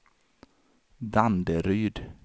Danderyd